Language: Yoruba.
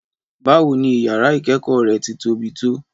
Báwo ni ìyàrá ìkẹẹkọ re ti tóbi tó?